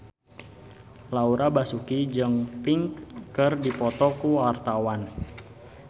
Laura Basuki jeung Pink keur dipoto ku wartawan